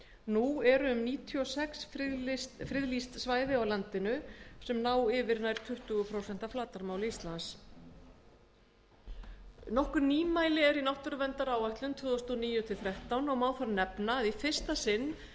nú eru um níutíu og sex friðlýst svæði á landinu sem ná yfir nær tuttugu prósent af flatarmáli þess nokkur nýmæli eru í náttúruverndaráætlun tvö þúsund og níu til tvö þúsund og þrettán og má þar nefna að í fyrsta sinn er